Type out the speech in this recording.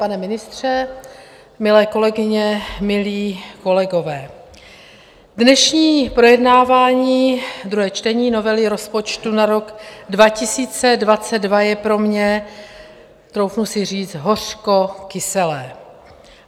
Pane ministře, milé kolegyně, milí kolegové, dnešní projednávání druhého čtení novely rozpočtu na rok 2022 je pro mě, troufnu si říci hořkokyselé.